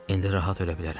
İndi rahat ölə bilərəm.